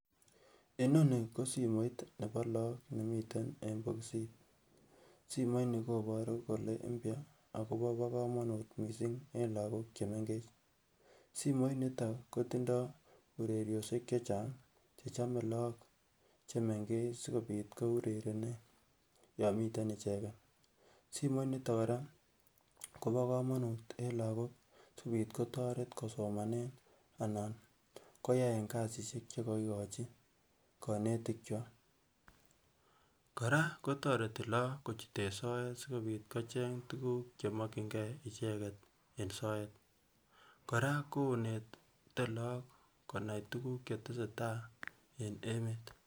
inoni kosimoit nebo look nemiten en bokisit simoit ni koboru kole mpya akobo komonut missing en lagook chemengech simoit niton kotindoo ureriosiek chechang chechome look chemengech sikobiit kourerenen yon miten icheken simoit niton kora kobo komonut en lagok sikobit kotoret kosomanen anan koyaen kasisiek chekokikochi konetik kwak kora kotoreti look kochuten soet sikobit kocheng tukuk chemokyingee icheket en soet kora konete look konai tukuk chetesetai en emet